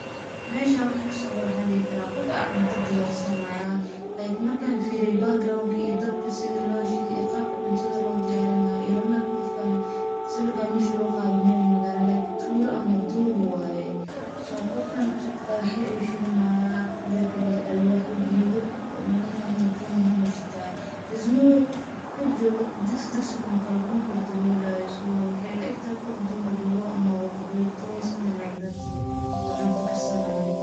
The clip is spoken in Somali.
Meshan wixi kasocdo waxan dixi karaa, gof aya cunta diyarsanaya, like marka firiye background iyo dabki sidhi loshide iyo qabki cuntada lodiyarinayo, ilamaeko gofkan , siwirkan meshi laguqade mel magala like tulaa ama duur wayee, so gofkan dagaxya ayu shidanaya , midakale alwaxya , gedoo aad uegyixin ayay shitan, theirs no way gof ciid jogoo digsi digsi kale kumakor dawolayo, so waxay ilaegtehe gof duur jogoo ama gof ama something ike that adhi oo cunta karsanayo.